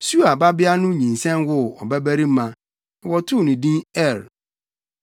Sua babea no nyinsɛn woo ɔbabarima, na wɔtoo no din Er.